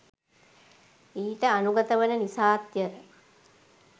ඊට අනුගත වන නිසාත් ය.